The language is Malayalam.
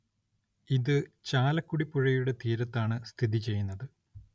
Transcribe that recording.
ഇത് ചാലക്കുടി പുഴയുടെ തീരത്താണ് സ്ഥിതിചെയ്യുന്നത്